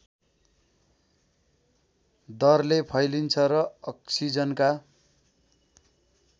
दरले फैलिन्छ र अक्सिजनका